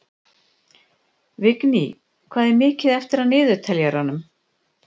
Vigný, hvað er mikið eftir af niðurteljaranum?